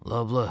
Loblə.